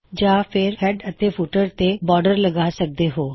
ਜਾਂ ਫੇਰ ਹੈਡਰ ਅਤੇ ਫੁੱਟਰ ਤੇ ਬੌਰਡਰ ਲਗਾ ਸਕਦੇ ਹੋਂ